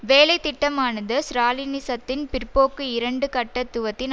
வேலைத்திட்டமானது ஸ்ராலினிசத்தின் பிற்போக்கு இரண்டு கட்டத்துவத்தின்